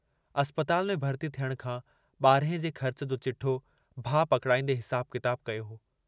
अस्पताल में भर्ती थियण खां बारहे जे ख़र्च जो चिठ्ठो भाउ पकड़ाईंदे हिसाबु किताबु कयो हो।